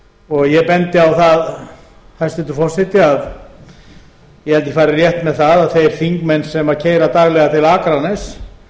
og ég bendi á það hæstvirtur forseti að ég held að ég fari rétt með það að þeir þingmenn sem keyra daglega til akraness